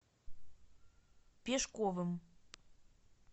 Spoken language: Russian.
пешковым